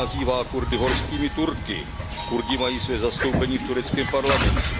nenazývá Kurdy Horskými Turky, Kurdi mají své zastoupení v tureckém parlamentu.